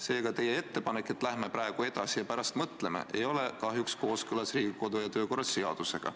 Seega teie ettepanek, et läheme praegu edasi ja pärast mõtleme, ei ole kahjuks kooskõlas Riigikogu kodu- ja töökorra seadusega.